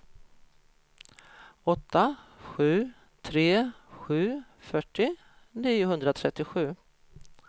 åtta sju tre sju fyrtio niohundratrettiosju